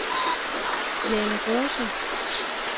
Jane Rose